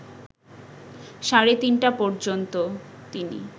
সাড়ে ৩টা পর্যন্ত তিনি